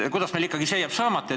Kuidas meil ikkagi see saamata jääb?